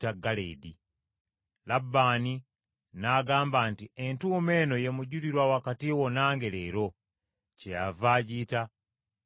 Labbaani n’agamba nti, “Entuumo eno ye mujulirwa wakati wo nange leero.” Kyeyava agiyita Galeedi,